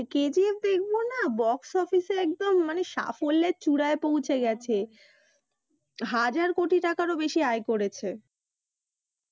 KGF দেখবোনা box office এ একদম মানে সাফল্যের চুড়ায় পৌঁছে গেছে হাজার কোটি টাকারও বেশি আয় করেছে।